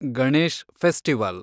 Ganesh festival